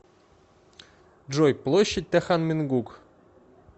джой площадь тэхан мингук